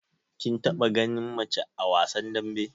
Kin taba gani mace a wasan dambe?